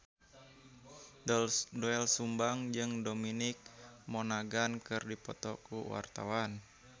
Doel Sumbang jeung Dominic Monaghan keur dipoto ku wartawan